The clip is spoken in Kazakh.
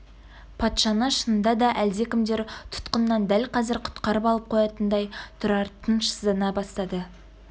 патшаны шынында да әлдекімдер тұтқыннан дәл қазір құтқарып алып қоятындай тұрар тынышсыздана бастады